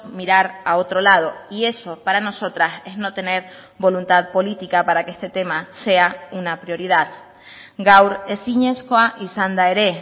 mirar a otro lado y eso para nosotras es no tener voluntad política para que este tema sea una prioridad gaur ezinezkoa izan da ere